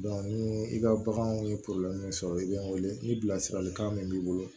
ni i ka baganw ye sɔrɔ i bɛ n wele ni bilasiralikan min b'i bolo